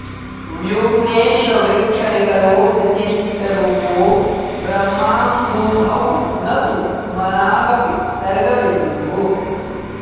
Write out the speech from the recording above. व्योम्नेष वृक्षनिकरो व्यतिरिक्तरूपो ब्रह्माम्बुधौ न तु मनागपि सर्गबिन्दुः